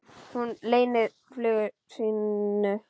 Og hún leynir flugi sínu.